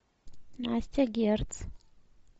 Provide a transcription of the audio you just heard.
настя герц